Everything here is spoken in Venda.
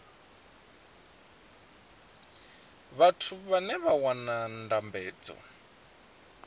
vhathu vhane vha wana ndambedzo